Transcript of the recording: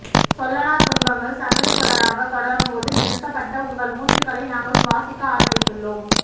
சொல்லனா துன்பங்கள் சங்கிலித்தொடராகதொடரும்போதும் நிறுத்தப்பட்ட உங்கள் மூச்சுக்களை நாங்கள் சுவாசிக்க ஆரம்பித்துள்ளோம்